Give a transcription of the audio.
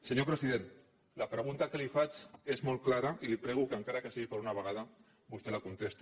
senyor president la pregunta que li faig és molt clara i li prego que encara que sigui per una vegada vostè la contesti